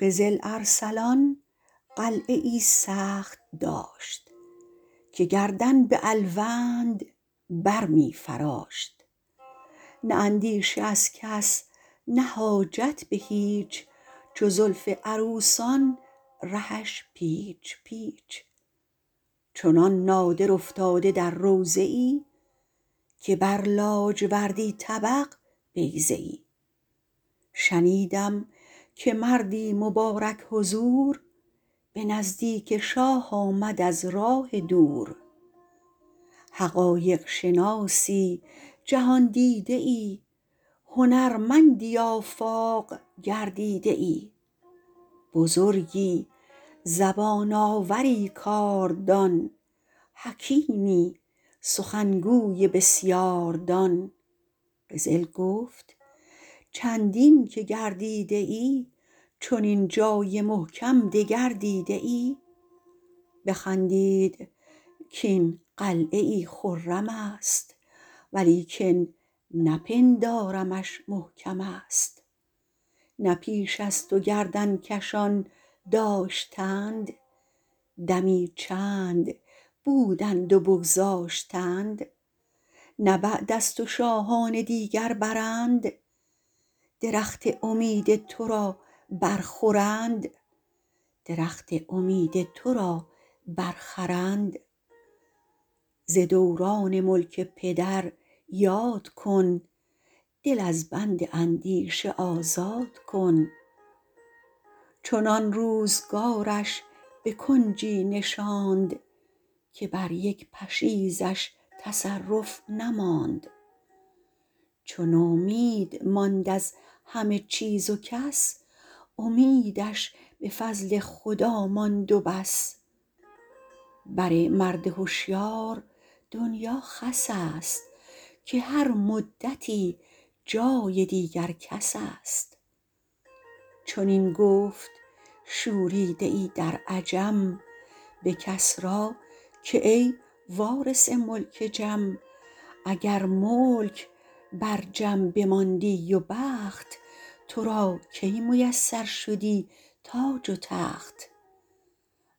قزل ارسلان قلعه ای سخت داشت که گردن به الوند بر می فراشت نه اندیشه از کس نه حاجت به هیچ چو زلف عروسان رهش پیچ پیچ چنان نادر افتاده در روضه ای که بر لاجوردی طبق بیضه ای شنیدم که مردی مبارک حضور به نزدیک شاه آمد از راه دور حقایق شناسی جهاندیده ای هنرمندی آفاق گردیده ای بزرگی زبان آوری کاردان حکیمی سخنگوی بسیاردان قزل گفت چندین که گردیده ای چنین جای محکم دگر دیده ای بخندید کاین قلعه ای خرم است ولیکن نپندارمش محکم است نه پیش از تو گردن کشان داشتند دمی چند بودند و بگذاشتند نه بعد از تو شاهان دیگر برند درخت امید تو را بر خورند ز دوران ملک پدر یاد کن دل از بند اندیشه آزاد کن چنان روزگارش به کنجی نشاند که بر یک پشیزش تصرف نماند چو نومید ماند از همه چیز و کس امیدش به فضل خدا ماند و بس بر مرد هشیار دنیا خس است که هر مدتی جای دیگر کس است چنین گفت شوریده ای در عجم به کسری که ای وارث ملک جم اگر ملک بر جم بماندی و بخت تو را کی میسر شدی تاج و تخت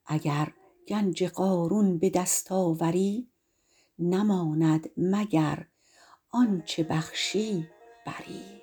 اگر گنج قارون به دست آوری نماند مگر آنچه بخشی بری